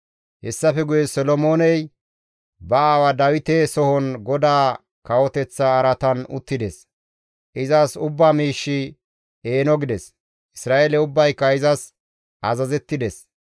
Hessafe guye Solomooney ba aawa Dawite sohon GODAA kawoteththa araatan uttides; izas ubba miishshi eeno gides; Isra7eele ubbayka izas azazettides.